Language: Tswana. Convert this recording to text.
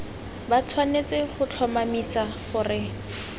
ba tshwanetse go tlhomamisa gore